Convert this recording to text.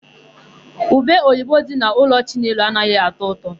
Ubeoyibe dị n'ụlọ Chinelo anaghị atọ ụtọ.